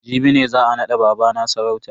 Jibi ne za a nada babana sarauta.